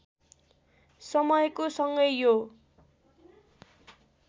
समयको सँगै यो